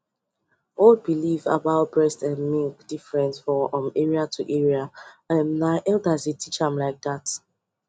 old believe about different from area to area and nah elders dey teach dem like that